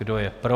Kdo je pro?